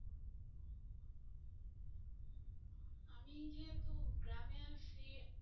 আমি যেহেতু গ্রামে আসছি